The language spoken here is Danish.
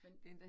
Men